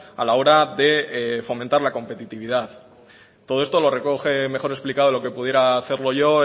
a la hora de fomentar la competitividad todo esto lo recoge mejor explicado lo que pudiera hacerlo yo